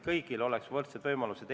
Vastutulelikkus põhineb usaldusel.